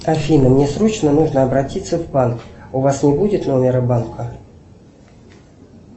афина мне срочно нужно обратиться в банк у вас не будет номера банка